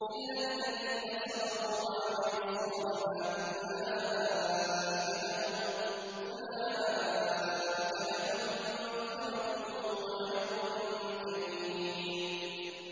إِلَّا الَّذِينَ صَبَرُوا وَعَمِلُوا الصَّالِحَاتِ أُولَٰئِكَ لَهُم مَّغْفِرَةٌ وَأَجْرٌ كَبِيرٌ